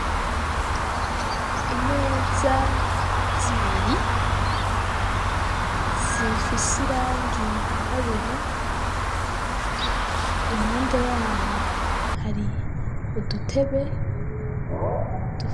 Imeza, zibiri zifis, irangi yirabura, impande yaho hari udutebe